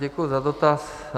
Děkuji za dotaz.